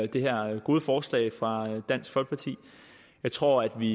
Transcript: det her gode forslag fra dansk folkeparti jeg tror at vi